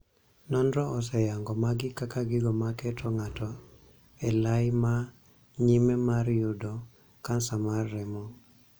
Nonro oseyango magi kaka gigo ma keto ng'ato e lai ma nyime mar yudo Kansa mar remo.